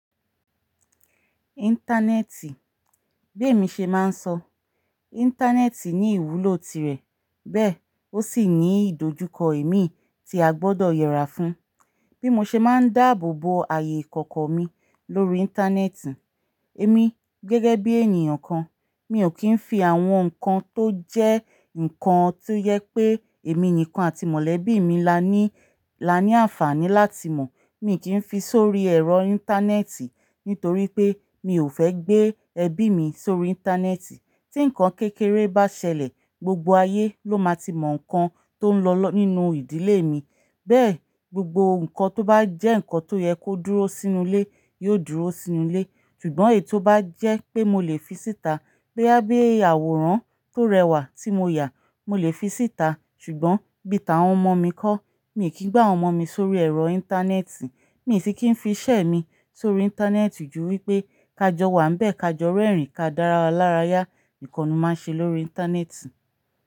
Íńtánẹ́ẹ̀tì, bí èmi ṣe máa ń sọ, íńtánẹ́ẹ̀tì ní ìwúlò tirẹ̀, bẹ́ẹ̀ ó sì ní ìdojúkọ ẹ̀mí tí a gbọdọ̀ yẹra fún. Bí mo ṣe máa ń dáàbò bo ààyè ìkọ̀kọ̀ mi lórí íńtánẹ́ẹ̀tì, èmi gẹ́gẹ́ bí ènìyàn kan, mi ò kí ń fi àwọn nǹkan tó jẹ́ nǹkan tó yẹ pé èmi nìkan àti mọ̀lẹ́bí mi la ní, la ní àǹfààní láti mọ̀, mi kì í fi sórí ẹ̀rọ íńtánẹ́ẹ̀tì nítorí pé mi ò fẹ́ gbé ẹbí mi sórí íńtánẹ́ẹ̀tì. Tí nǹkan kékeré bá ṣẹlẹ̀, gbogbo ayé ló máa ti mọ̀ nǹkan tó ń lọ nínú ìdílé mi. Bẹ́ẹ̀ gbogbo nǹkan tó bá jẹ́ nǹkan tó yẹ kó dúró sínú ilé yóò dúró sínú ilé. Ṣùgbọ́n èyí tó bá jẹ́ pé mo lè fi síta, bóyá bí àwòrán tó rẹwà tí mo yà, mo lè fi síta. Ṣùgbọ́n bíta àwọn ọmọ mi kọ́, mi ò kí gba àwọn ọmọ mi sórí ẹ̀rọ íńtánẹ́ẹ̀tì. Mi sì kí ń fi iṣẹ́ mi sórí íńtánẹ́ẹ̀tì ju wí pé, ká jọ wàá bẹ́ẹ̀ ká jọ rẹ́rìn-ín ká dára lára yá, ìkànù máa ń ṣe lórí íńtánẹ́ẹ̀tì.